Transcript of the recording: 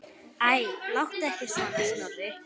Æ, láttu ekki svona, Snorri.